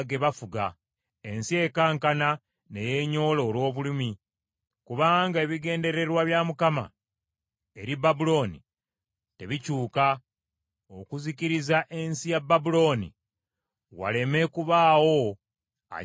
Ensi ekankana ne yeenyola olw’obulumi, kubanga ebigendererwa bya Mukama eri Babulooni tebikyuka, okuzikiriza ensi ya Babulooni waleme kubaawo agibeeramu.